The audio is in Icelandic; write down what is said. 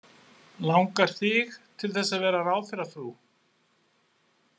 Langar þig til þess að vera ráðherrafrú?